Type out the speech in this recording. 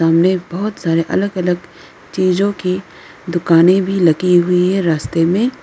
सामने बहुत सारे अलग अलग चीजों की दुकानें भी लगी हुई है रास्ते में।